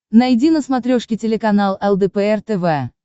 найди на смотрешке телеканал лдпр тв